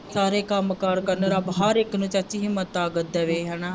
ਸਾਰੇ ਕੰਮ ਕਾਰ ਕਰਨ ਰੱਬ ਹਰ ਇੱਕ ਨੂੰ ਚਾਚੀ ਹਿੰਮਤ ਤਾਕਤ ਦੇਵੇ ਹਨਾ